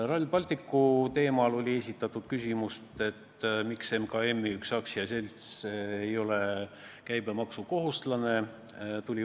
Rail Balticu teemal esitati küsimus, miks MKM-i üks aktsiaselts ei ole käibemaksukohustuslane.